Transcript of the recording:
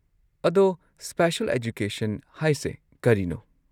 ꯑꯗꯣ, special education ꯍꯥꯏꯁꯦ ꯀꯔꯤꯅꯣ?